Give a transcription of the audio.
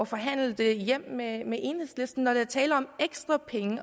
forhandle det hjem med med enhedslisten når der er tale om ekstra penge i